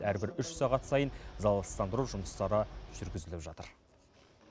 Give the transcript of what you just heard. әрбір үш сағат сайын залалсыздандыру жұмыстары жүргізіліп жатыр